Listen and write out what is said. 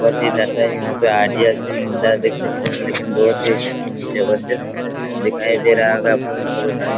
four G data यहाँ पे Idea sim मिलता है देख सकतें हैं लेकिन बहुत ही जबरदस्त दिखाई दे रहा होगा आप लोगों को दुकान --